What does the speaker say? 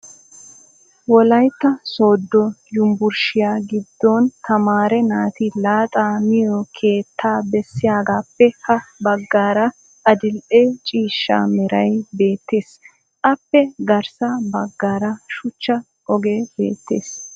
wolaytta soodo yunbburshshiya giddon tamaare naati laxxaa miyo keettaa bessiyagaape ha bagaara adile ciishsha meray beetees appe garssa bagaara shuchcha ogee beetees.